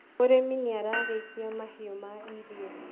mũrĩmi nĩarariithia mahiũ ma irio